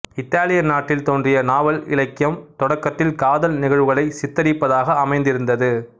Italy நாட்டில் தோன்றிய நாவல் இலக்கியம் தொடக்கத்தில் காதல் நிகழ்வுகளைச் சித்திரிப்பதாக அமைந்திருந்தது